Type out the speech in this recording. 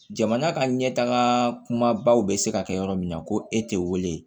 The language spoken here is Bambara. Jamana ka ɲɛtaga kumabaw bɛ se ka kɛ yɔrɔ min na ko e tɛ wele